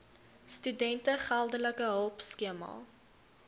studente geldelike hulpskema